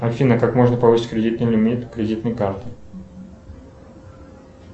афина как можно повысить кредитный лимит кредитной карты